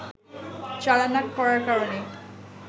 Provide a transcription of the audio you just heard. চালান না করার কারণে